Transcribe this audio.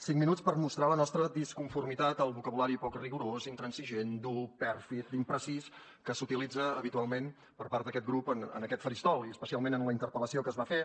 cinc minuts per mostrar la nostra disconformitat al vocabulari poc rigorós intransigent dur pèrfid imprecís que s’utilitza habitualment per part d’aquest grup en aquest faristol i especialment en la interpel·lació que es va fer